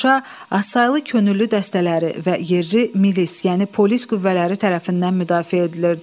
Şuşa azsaylı könüllü dəstələri və yerli milis, yəni polis qüvvələri tərəfindən müdafiə edilirdi.